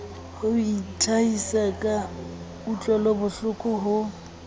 ho itlhahisa ka kutlwelobohloko ho